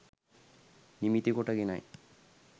නිමිතිකොට ගෙනයි